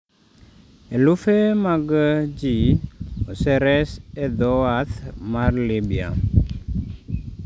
Elufe mag ji oseres e dho wath mar Libya